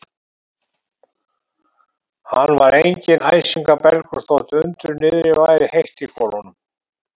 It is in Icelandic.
Hann var enginn æsingabelgur, þótt undir niðri væri heitt í kolum.